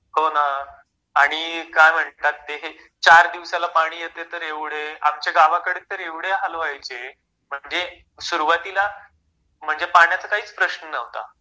हो ना आणि काय म्हणतात ते चार दिवसाला पाणी येतेय तर एव्हड आमच्या गावाकडे तर एव्हडे हाल व्हायचे... म्हणजे सुरवातीला म्हणजे पाण्याचा काहीच प्रश्न नव्हता